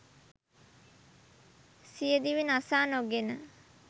සියදිවි නසා නොගෙන